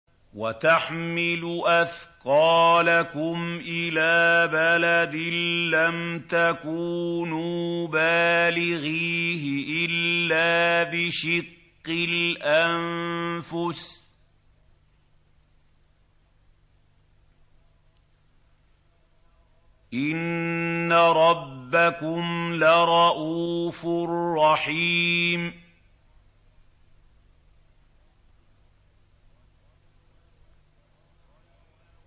وَتَحْمِلُ أَثْقَالَكُمْ إِلَىٰ بَلَدٍ لَّمْ تَكُونُوا بَالِغِيهِ إِلَّا بِشِقِّ الْأَنفُسِ ۚ إِنَّ رَبَّكُمْ لَرَءُوفٌ رَّحِيمٌ